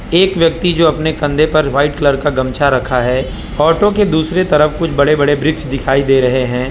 एक व्यक्ति जो अपने कंधे पर व्हाइट कलर का गमछा रखा है ऑटो के दूसरे तरफ कुछ बड़े बड़े वृक्ष दिखाई दे रहे हैं।